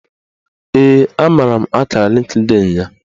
Ee, amara m akara Lịnkdịn ya